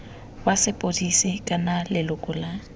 wa sepodisi kana leloko la